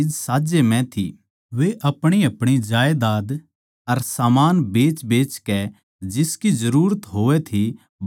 वे अपणीअपणी जायदाद अर सामान बेचबेचकै जिसकी जरूरत होवै थी बांड दिया करै थे